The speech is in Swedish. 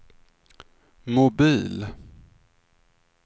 mobil